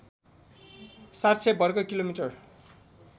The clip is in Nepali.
७०० वर्ग किलोमिटर